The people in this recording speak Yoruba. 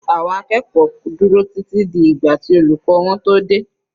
Àwọn akẹ́kọ̀ọ́ dúró títí di ìgbà tí olùkọ́ wọn tó dé.